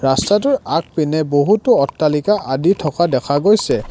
ৰাস্তাটোৰ আগপিনে বহুতো অট্টালিকা আদি থকা দেখা গৈছে।